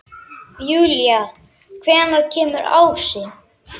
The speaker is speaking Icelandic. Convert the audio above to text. Júlí, hvenær kemur ásinn?